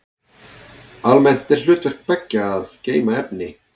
Almennt er hlutverk beggja að geyma efni.